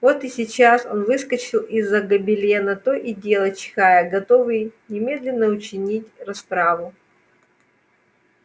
вот и сейчас он выскочил из-за гобелена то и дело чихая готовый немедленно учинить расправу